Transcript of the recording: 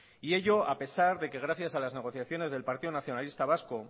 y ello a pesar de que gracias a las negociaciones del partido nacionalista vasco